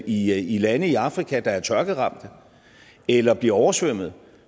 i lande i afrika der er tørkeramte eller bliver oversvømmet